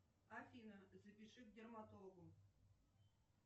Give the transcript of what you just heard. афина запиши к дерматологу